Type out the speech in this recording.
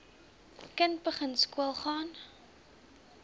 kind begin skoolgaan